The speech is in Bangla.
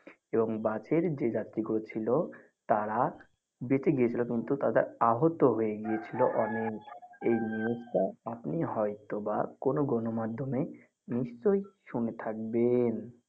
এবং বাসের যে যাত্রী গুলো ছিল তারা বেঁচে গিয়ে ছিলো কিন্তু তারা আহত হয়ে গিয়ে ছিল অনেক এই news তা আপনি হয়তো বা কোনো গণ মাধ্যম নিশ্চই শুনে থাকবেন.